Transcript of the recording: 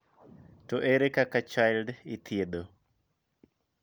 To ere kaka chILD ithiedho?